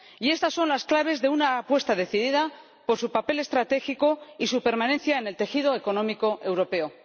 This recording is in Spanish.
Estas son las claves de una apuesta decidida por su papel estratégico y su permanencia en el tejido económico europeo.